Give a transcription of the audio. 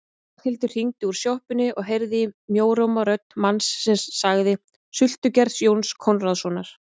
Ragnhildur hringdi úr sjoppunni og heyrði í mjóróma rödd manns sem sagði: Sultugerð Jóns Konráðssonar